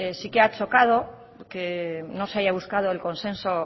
sí que ha chocado que no se haya buscado el consenso